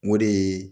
O de ye